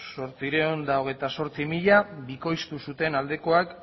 zortziehun eta hogeita zortzi mila bikoiztu zuten aldekoak